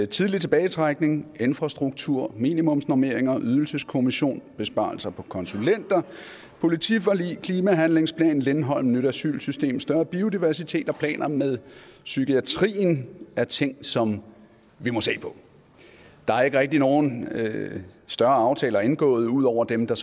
tidlig tilbagetrækning infrastruktur minimumsnormeringer ydelseskommission besparelser på konsulenter politiforlig klimahandlingsplan lindholm nyt asylsystem større biodiversitet og planer med psykiatrien er ting som vi må se på der er ikke rigtig nogen større aftaler indgået ud over dem der